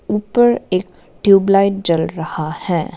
ऊपर एक ट्यूबलाइट जल रहा है।